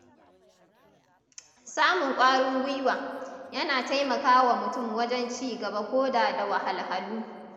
Samun ƙwarin guiwa, yana taimakawa mutum wajen cigaba koda da wahalhalu.